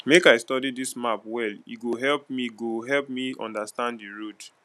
make i study dis map well e go help me go help me understand di road